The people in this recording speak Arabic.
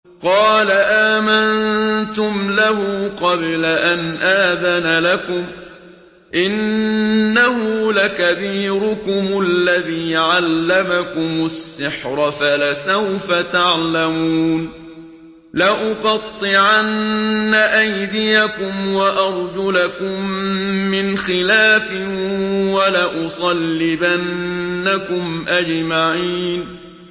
قَالَ آمَنتُمْ لَهُ قَبْلَ أَنْ آذَنَ لَكُمْ ۖ إِنَّهُ لَكَبِيرُكُمُ الَّذِي عَلَّمَكُمُ السِّحْرَ فَلَسَوْفَ تَعْلَمُونَ ۚ لَأُقَطِّعَنَّ أَيْدِيَكُمْ وَأَرْجُلَكُم مِّنْ خِلَافٍ وَلَأُصَلِّبَنَّكُمْ أَجْمَعِينَ